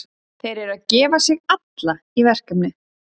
Þeir eru að gefa sig alla í verkefnið.